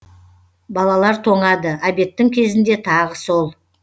балалар тоңады обедтің кезінде тағы сол